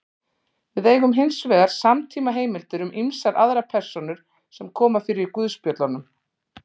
Við eigum hins vegar samtímaheimildir um ýmsar aðrar persónur sem koma fyrir í guðspjöllunum.